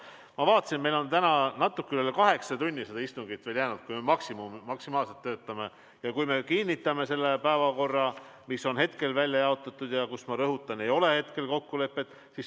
Ma vaatasin, meil on täna natuke üle kaheksa tunni seda istungit veel jäänud, kui me maksimaalselt töötame ja kinnitame selle päevakorra, mis on hetkel välja jaotatud ja mille osas, ma rõhutan, ei ole hetkel kokkulepet.